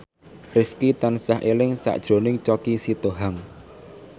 Rifqi tansah eling sakjroning Choky Sitohang